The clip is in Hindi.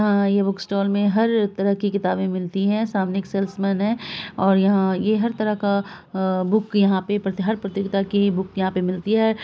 यहाँ ये बुक स्टोर में हर तरह की किताबें मिलती है| सामने एक सेल्समैन है और यहाँ ये हर तरह का बुक यहाँ पे हर प्रतियोगिता की बुक यहाँ पे मिलती है।